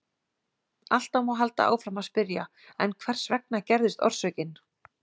Alltaf má halda áfram að spyrja: En hvers vegna gerðist orsökin?